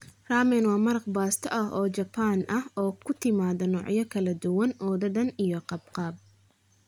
Ramen waa maraq baasto ah oo Jabbaan ah oo ku timaada noocyo kala duwan oo dhadhan iyo qaabab.